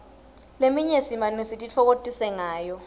leminye simane sititfokotise ngayo